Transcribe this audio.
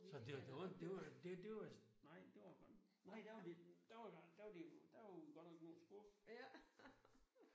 Så det var da undt det det var da det var godt nok nej det var da det var godt nok der var der jo nej der var vi godt nok noget skuffet